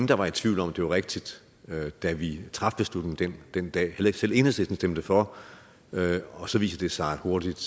der var i tvivl om at det var rigtigt da vi traf beslutningen den dag selv enhedslisten stemte for og så viser det sig hurtigt